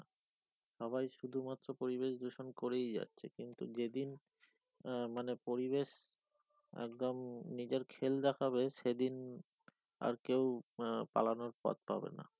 সবাই শুধু মাত্র পরিবেশ দূষণ করেই যাচ্ছে কিন্তু যেদিন আহ মানে পরিবেশ একদম নিজের খেল দেখাবে সে দিন আর কেও আহ পালানোর পথ পাবে না